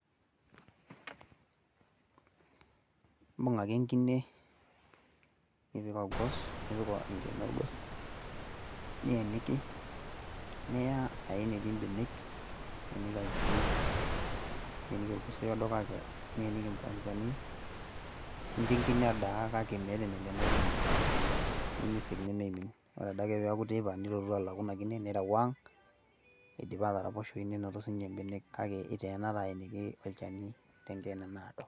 ibung' ake enkine, nipik enkeene orgos, niya enetii ibenek, niyeniki olchani, niyeniki orgosoi oodo, niyeniki enchani, nincho enkine edaa, kake meeta enelo ena kine, nemeisik nemeimni, ore adake pee eeku teipa, nilaku ina kine nireu ang idipa ataraposhoyu, nenoto sii ninye benek kake iteena taa aeniki olchani kake tenkeene naado.